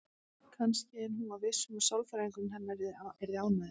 Kannski, en hún var viss um að sálfræðingurinn hennar yrði ánægður.